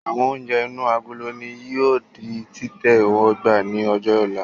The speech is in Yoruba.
Àwọn oúnjẹ inú agolo ni yìí ó di títẹ́wọ́gbá ni ọjọ́ ọ̀la